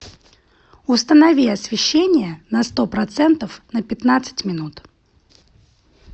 установи освещение на сто процентов на пятнадцать минут